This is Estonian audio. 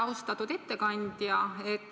Austatud ettekandja!